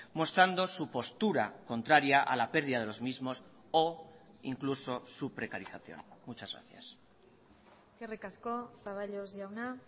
mostrando su postura contraria a la pérdida de los mismos o incluso su precarización muchas gracias eskerrik asko zaballos jauna